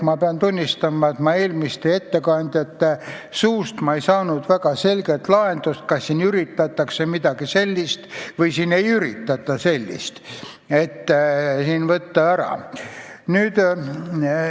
Ma pean tunnistama, et eelmiste ettekandjate suust ma ei kuulnud selgitust, kas siin üritatakse midagi sellist või siin ei üritata seda võimalust ära võtta.